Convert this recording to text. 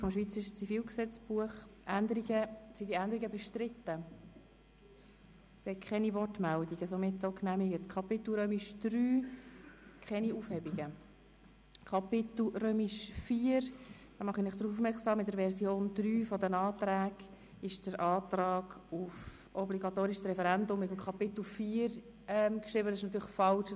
Ich mache Sie darauf aufmerksam, dass der Antrag auf das obligatorische Referendum gemäss Version 3 der Anträge fälschlicherweise dem Kapitel IV. zugewiesen ist.